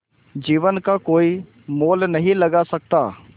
जीवन का कोई मोल नहीं लगा सकता